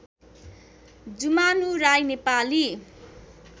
Jumanu Rai Nepali